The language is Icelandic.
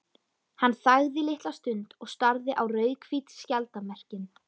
Hann þagði litla stund og starði á rauðhvít skjaldarmerkin.